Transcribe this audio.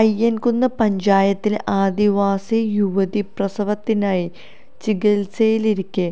അയ്യന്കുന്ന് പഞ്ചായത്തിലെ ആദിവാസി യുവതി പ്രസവത്തിനായി ചികിത്സയിലിരിക്കെ